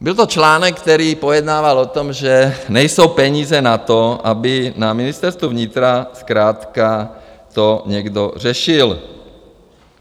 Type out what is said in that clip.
Byl to článek, který pojednával o tom, že nejsou peníze na to, aby na Ministerstvu vnitra zkrátka to někdo řešil.